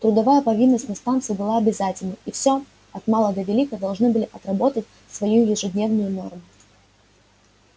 трудовая повинность на станции была обязательной и всё от мала до велика должны были отработать свою ежедневную норму